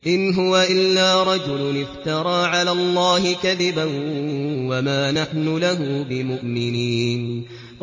إِنْ هُوَ إِلَّا رَجُلٌ افْتَرَىٰ عَلَى اللَّهِ كَذِبًا وَمَا نَحْنُ لَهُ بِمُؤْمِنِينَ